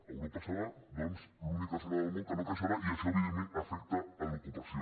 europa serà doncs l’única zona del món que no creixerà i això evidentment afecta l’ocupació